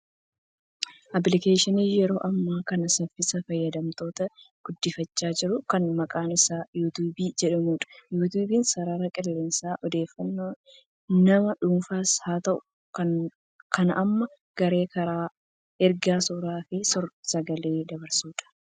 Aappilikeeshinii yeroo ammaa kana saffisaan fayyadamtoota guddifachaa jiru kan maqaan isaa yuutuubii jedhamudha. Yuutuubiin sarara qilleensaa odeeffannoo nama dhuunfaas haa ta'u kan nama garee karaa ergaa, suuraa fi suur sagalee dabarsudha.